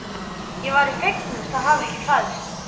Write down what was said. Ég væri fegnust að hafa ekki fæðst.